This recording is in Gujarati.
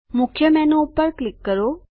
મુખ્ય મેનુ પર ક્લિક કરો